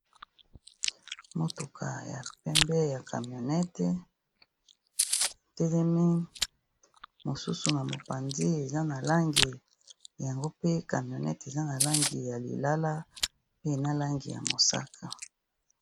Motuka ya pembe ya camionnette e telemi, mosusu na mopanzi yeza na langi yango pe camionnette eza na langi ya lilala na langi ya mosaka.